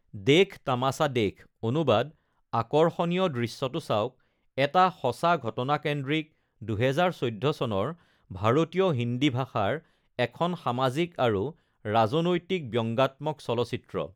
দেখ তামাছা দেখ (অনুবাদ- আকৰ্ষণীয় দৃশ্যটো চাওক) এটা সঁচা ঘটনাকেন্দ্ৰিক ২০১৪ চনৰ ভাৰতীয় হিন্দী ভাষাৰ এখন সামাজিক আৰু ৰাজনৈতিক ব্যংগাত্মক চলচ্চিত্ৰ৷